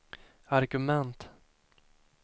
argument